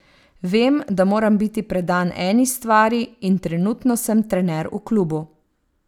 Vem, da moram biti predan eni stvari in trenutno sem trener v klubu.